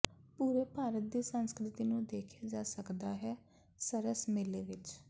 ਪੂਰੇ ਭਾਰਤ ਦੀ ਸੰਸਕਿ੍ਰਤੀ ਨੂੰ ਦੇਖਿਆ ਜਾ ਸਕਦਾ ਹੈ ਸਰਸ ਮੇਲੇ ਵਿੱਚ